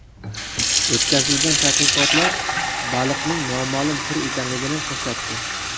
O‘tkazilgan tadqiqotlar baliqning noma’lum tur ekanligini ko‘rsatdi.